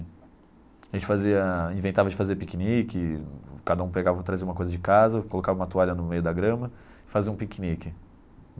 A gente fazia inventava de fazer piquenique, cada um pegava trazia uma coisa de casa, colocava uma toalha no meio da grama e fazia um piquenique.